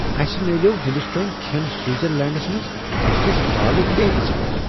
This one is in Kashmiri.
اَسہِ میلیٛوو ہندوستٲنۍ کھٮ۪ن سوٹزرلینٛڈس منٛز أکس بالہٕ تیٖنٛتس پٮ۪ٹھ۔